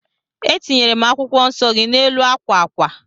Etinyere m akwụkwọ nsọ gị n'elu akwa akwa